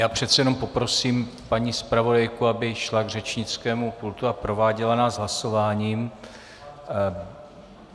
Já přece jenom poprosím paní zpravodajku, aby šla k řečnickému pultu a prováděla nás hlasováním.